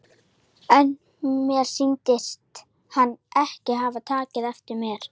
En mér sýndist hann ekki taka eftir mér.